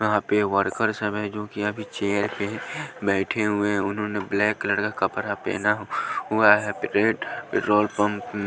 यहां पे वर्कर सब है जो कि अभी चेयर पे बैठे हुए हैं उन्होंने ब्लैक कलर का कपड़ा पहना हुआ है पेट्रोल पंप --